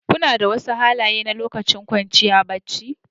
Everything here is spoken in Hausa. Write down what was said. Kuna da wasu halaye na lokacin kwanciya barci?